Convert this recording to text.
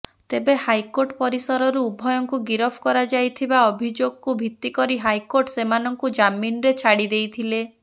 ତେବେ ହାଇକୋର୍ଟ ପରିସରରୁ ଉଭୟଙ୍କୁ ଗିରଫ କରାଯାଇଥିବା ଅଭିଯୋଗକୁ ଭିତିକରି ହାଇକୋର୍ଟ ସେମାନଙ୍କୁ ଜାମିନରେ ଛାଡିଦେଇଥିଲେ